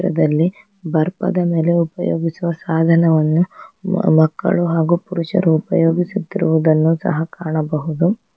ಪಕ್ಕದಲ್ಲಿ ಬರ್ಪದ ಮೇಲೆ ಉಪಯೋಗಿಸುವ ಸಾಧನವನ್ನು ಮಕ್ಕಳು ಹಾಗೂ ಪುರುಷರು ಉಪಯೋಗಿಸುತ್ತಿರುವುದನ್ನು ಸಹ ಕಾಣಬಹುದು.